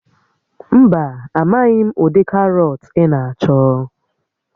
Mba, amaghị m ụdị karọt ị na-achọ